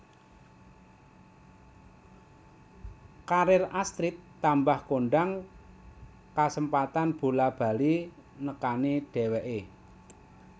Karir Astrid tambah kondang kasempatan bola bali nekani dheweké